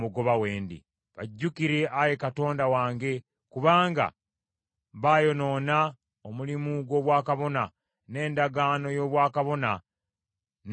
Bajjukire, Ayi Katonda wange, kubanga baayonoona omulimu gw’obwakabona n’endagaano y’obwakabona ne ey’Abaleevi.